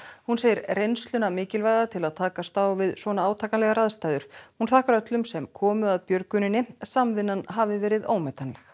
hún segir reynsluna mikilvæga til að takast á við svona átakanlegar aðstæður hún þakkar öllum sem komu að björguninni samvinnan hafi verið ómetanleg